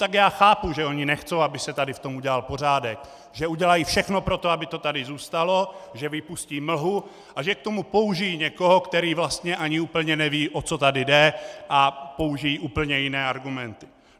Tak já chápu, že oni nechtějí, aby se tady v tom udělal pořádek, že udělají všechno pro to, aby to tady zůstalo, že vypustí mlhu a že k tomu použijí někoho, který vlastně ani úplně neví, o co tady jde, a použijí úplně jiné argumenty.